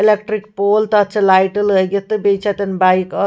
electric pole تہٕ تَتھ چھ لایٹہٕ لٲگِتھ تہٕ بیٚیہِ چھ اَتٮ۪ن بایک .اکھ